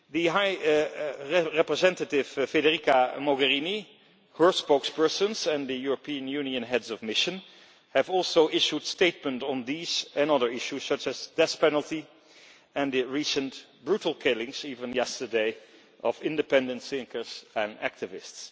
High Representative Federica Mogherini, her spokespersons and the European Union Heads of Mission have also issued statements on these and other issues such as the death penalty and the recent brutal killings, even yesterday, of independent thinkers and activists.